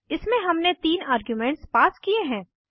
इसमें हमने तीन आर्ग्यूमेंट्स पास किये हैं